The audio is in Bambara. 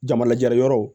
Jamalajɛra yɔrɔw